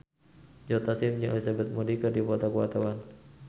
Joe Taslim jeung Elizabeth Moody keur dipoto ku wartawan